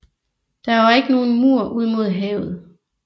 Der var ikke nogen mur ud mod havet